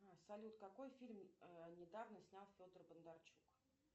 салют какой фильм недавно снял федор бондарчук